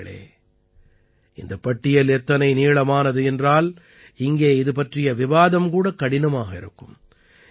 நண்பர்களே இந்தப் பட்டியல் எத்தனை நீளமானது என்றால் இங்கே இதுபற்றிய விவாதம் கூட கடினமாக இருக்கும்